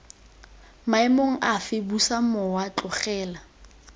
maemong afe busa mowa tlogela